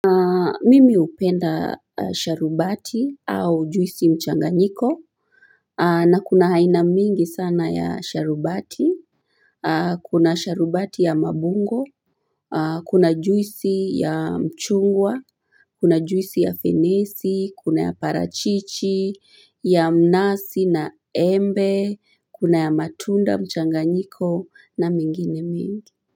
Mimi hupenda sharubati au juisi mchanganyiko na kuna aina mingi sana ya sharubati Kuna sharubati ya mabungo Kuna juisi ya mchungwa kuna juisi ya fenesi kuna ya parachichi ya mnasi na embe kuna ya matunda mchanganyiko na mingine mingi.